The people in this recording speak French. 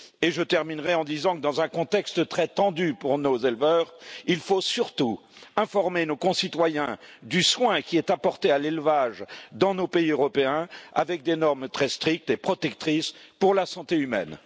Je terminerai en disant que dans un contexte très tendu pour nos éleveurs, il faut surtout informer nos concitoyens du soin qui est apporté à l'élevage dans nos pays européens avec des normes très strictes et protectrices pour la santé humaine.